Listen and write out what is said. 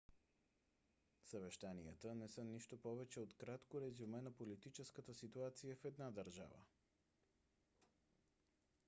съвещанията не са нищо повече от кратко резюме на политическата ситуация в една държава